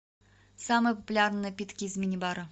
самые популярные напитки из мини бара